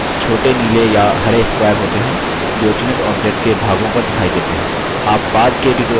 handles छोटे नीले या हरे squares होते हैं जो चुनित object के भागों पर दिखाई देते हैं